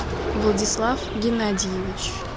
владислав геннадьевич